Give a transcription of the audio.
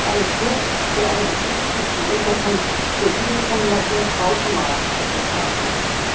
gemeinsam mit einem Flug, oder einer gebuchten Unterkunft, wird diese Kombination automatisch zur Pauschalreise.